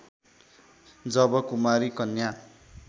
जब कुमारी कन्या